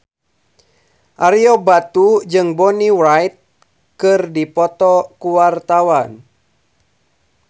Ario Batu jeung Bonnie Wright keur dipoto ku wartawan